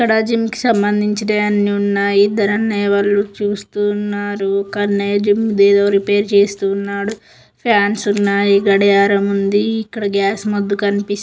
ఇక్కడ జిమ్ కి సంబందించి అన్ని ఉన్నాయి ఇద్దరు అన్నయ్య వాళ్లు చూస్తూ ఉన్నారు కన్నయ్య జిమ్ ది ఏదో రిపైర్ చేస్తూ ఉన్నాడు ఫాన్స్ ఉన్నాయి గడియారం ఉంది ఇక్కడ గ్యాస్ మగ్ కనిపిస్తు --